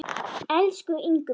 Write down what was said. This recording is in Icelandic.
Elsku Ingrún.